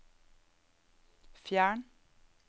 fjern